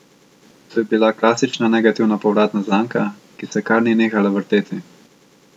To je bila klasična negativna povratna zanka, ki se kar ni nehala vrteti.